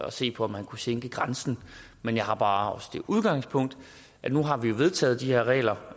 at se på om man kunne sænke grænsen men jeg har bare også det udgangspunkt at nu har vi jo vedtaget de her regler